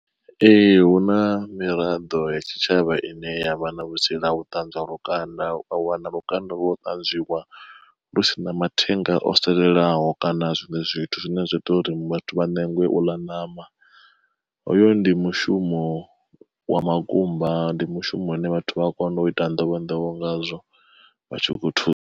Ee hu na miraḓo ya tshitshavha ine yavha na vhutsila ho ṱanzwa lukanda wa wana lukanda lwo ṱanzwiwa lusina mathenga o salelaho kana zwiṅwe zwithu zwine zwa ita uri vhathu vha ṋengwe u ḽa ṋama. Hoyo ndi mushumo wa makumba ndi mushumo une vhathu vha a kona u ita nḓowenḓowe ngazwo vha tshi khou thusa.